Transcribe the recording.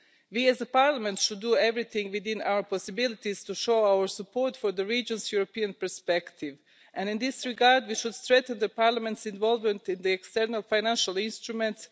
We as a Parliament should do everything within our possibilities to show our support for the region's European perspective, and in this regard, we should strengthen Parliament's involvement in the external financial instruments.